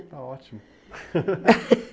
Está ótimo.